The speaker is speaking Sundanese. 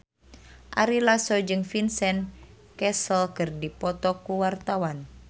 Ari Lasso jeung Vincent Cassel keur dipoto ku wartawan